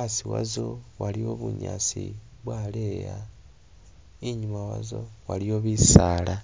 asi wazo waliwo bunyaasi bwaleeya, inyuma wazo waliwo bisaala.